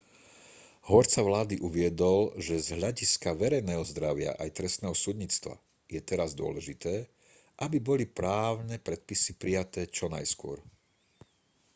hovorca vlády uviedol že z hľadiska verejného zdravia aj trestného súdnictva je teraz dôležité aby boli právne predpisy prijaté čo najskôr